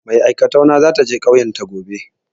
Mai aikatau na za ta je ƙauyan ta gobe.